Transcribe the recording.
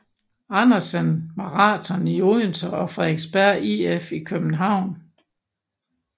Andersen Marathon i Odense og Frederiksberg IF i København